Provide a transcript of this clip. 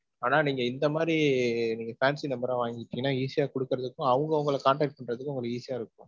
ஆனா நீங்க இந்த மாதிரி fancy number ஆ வாங்கிக்கிட்டிங்கனா, easy ஆ குடுக்குறதுக்கும், அவங்க உங்கள contact பண்றதுக்கும் உங்களுக்கு easy ஆ இருக்கும்.